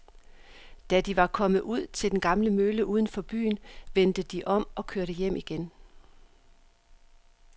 Da de var kommet ud til den gamle mølle uden for byen, vendte de om og kørte hjem igen.